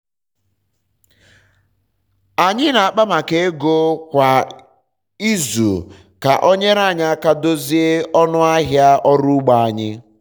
anyị na akpa maka ego kwa um izu ka o nyere anyị aka dozie ọnụ ahịa ọrụ ugbo anyi